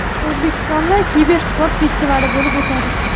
O‘zbekistonda kibersport festivali bo‘lib o‘tadi.